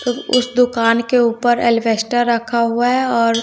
तो उस दुकान के ऊपर एल्वेस्टर रखा हुआ है और--